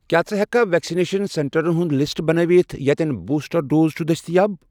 کیٛاہ ژٕ ہیٚککھا ویکسِنیشن سینٹرن ہُنٛد لسٹ بنٲوِتھ یتٮ۪ن بوٗسٹر ڈوز چھُ دٔستِیاب؟